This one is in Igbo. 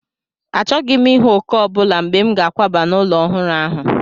Achọghị m ịhụ òkè ọ bụla mgbe m ga-akwaba n'ụlọ ọhụrụ ahụ.